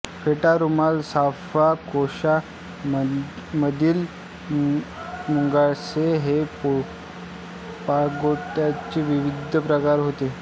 फेटा रुमाल साफा कोशा मंदिल मुंडासे हे पागोट्यांचे विविध प्रकार होत